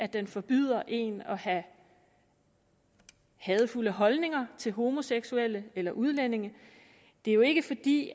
den forbyder en at have hadefulde holdninger til homoseksuelle eller udlændinge det er jo ikke fordi